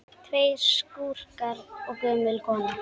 Tveir skúrkar og gömul kona